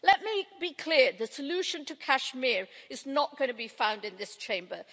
Let me be clear the solution to Kashmir is not going to be found in this Chamber.